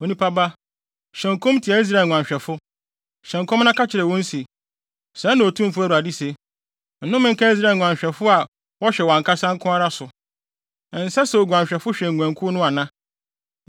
“Onipa ba, hyɛ nkɔm tia Israel nguanhwɛfo: hyɛ nkɔm na ka kyerɛ wɔn se: Sɛɛ na Otumfo Awurade se: Nnome nka Israel nguanhwɛfo a wɔhwɛ wɔn ankasa nko ara so. Ɛnsɛ sɛ nguanhwɛfo hwɛ nguankuw no ana?